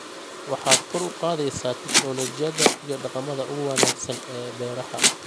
waxaad kor u qaadaysaa tignoolajiyada iyo dhaqamada ugu wanaagsan ee beeraha.